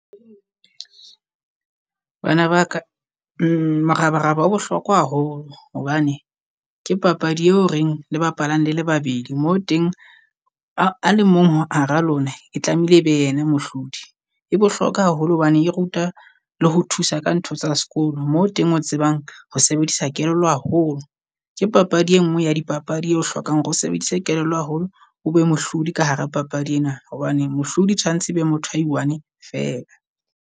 Bana ba ka morabaraba o bohlokwa haholo hobane ke papadi eo reng le bapalang le le babedi mo teng a, a le mong hara lona e tlameile e be yena mohlodi. E bohlokwa haholo hobane e ruta le ho thusa ka ntho tsa sekolo, moo teng o tsebang ho sebedisa kelello haholo. Ke papadi e nngwe ya dipapadi eo hlokang hore o sebedise kelello haholo o be mohlodi ka hara papadi ena, hobane mohlodi tshwantse e be motho ai one feela.